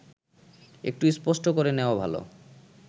একটু স্পষ্ট করে নেওয়া ভালো